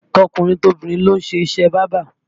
Tọkùnrin tobìnrin ló ń kọ́ iṣẹ́ bábà